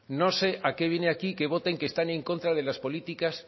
no sé a qué viene aquí que voten que están en contra de las políticas